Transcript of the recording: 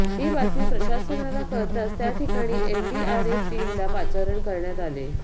ही बातमी प्रशासनाला कळताच त्याठिकाणी एनडीआरफ टीमला पाचारण करण्यात आले